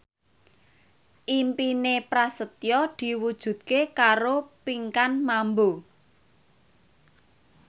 impine Prasetyo diwujudke karo Pinkan Mambo